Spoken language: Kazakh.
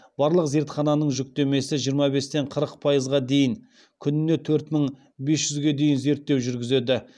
барлық зертхананың жүктемесі жиырма бестен қырық пайызға дейін күніне төрт мың бес жүзге дейін зерттеу жүргізеді